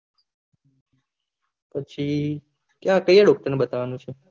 પછી ત્યાં કયા ડોકટર ને બતાવાનું છે